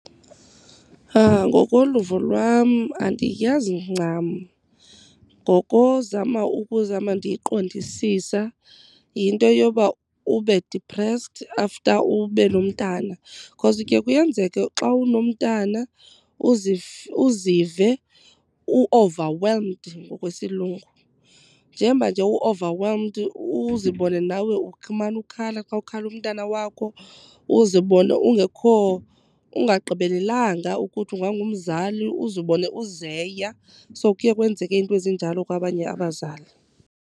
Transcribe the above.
Ngokoluvo lwam andiyazi ncam ngokozama ukuzama ndiyiqondisisa yinto yoba ube depressed after ube nomntana cause ke kuyenzeka xa unomntana uzive u-overwhelmed ngokwesiLungu. Njeba nje u-overwhelmed uzibone nawe umane ukhala xa kukhala umntana wakho, uzibone ungekho ungagqibelelanga ukuthi ungangumzali uzibone uzeya. So kuye kwenzeke iinto ezinjalo kwabanye abazali.